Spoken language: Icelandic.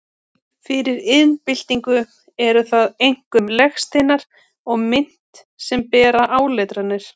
Fyrir iðnbyltingu eru það einkum legsteinar og mynt sem bera áletranir.